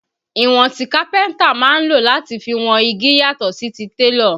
Ìwọ̀n tí kápẹ́ntà máa lò láti fi wọn igi yàtọ̀ sí ti télọ̀